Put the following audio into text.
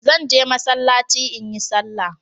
Zan je Masallaci in yi salah.